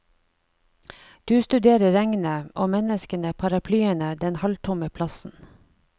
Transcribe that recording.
Du studerer regnet, og menneskene, paraplyene, den halvtomme plassen.